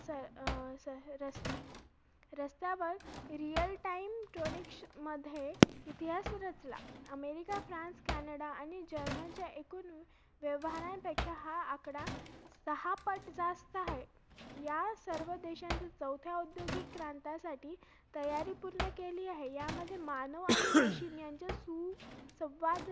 आणि diamond मध्ये आम्हाला असं सरावाला आम्हाला थोडेसे diamond देतात आणि तिकडे office ला भरपूर असे diamond भेटतात मग काय मंजे समजत नाही म्हणजे पूर्ण खराब माल असतो . आणि